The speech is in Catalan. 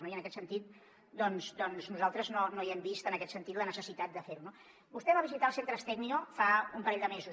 i en aquest sentit doncs nosaltres no hi hem vist en aquest sentit la necessitat de fer ho no vostè va visitar els centres tecnio fa un parell de mesos